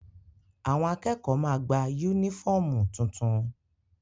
Àwọn akẹ́kọ̀ọ́ ma gba yúnífọ̀mù tuntun